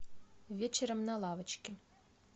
вечером на лавочке